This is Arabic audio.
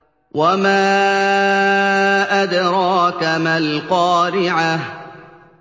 وَمَا أَدْرَاكَ مَا الْقَارِعَةُ